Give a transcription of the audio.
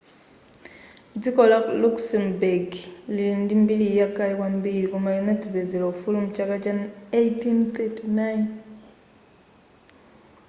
dziko la luxembourg lili ndi mbiri yakale kwambiri koma linadzipezela ufulu mchaka cha 1839